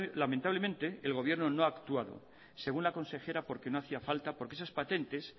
lamentablemente el gobierno no ha actuado según la consejera porque no hacía falta porque esas patentes